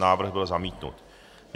Návrh byl zamítnut.